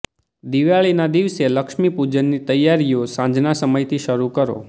દિવાળીના દિવસે લક્ષ્મી પૂજનની તૈયારીઓ સાંજના સમયથી શરૂ કરો